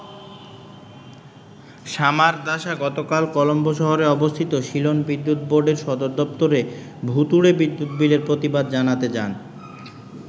সামারদাসা গতকাল কলম্বো শহরে অবস্থিত সিলন বিদ্যুৎ বোর্ডের সদর দপ্তরে ভূতুড়ে বিদ্যুৎ বিলের প্রতিবাদ জানাতে যান।